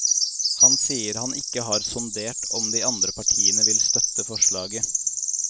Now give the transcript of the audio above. Han sier at han ikke har sondert om de andre partiene vil støtte forslaget.